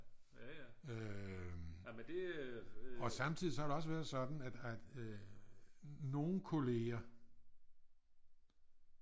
Øh og samtidig så har det også været sådan at nogle kollegaer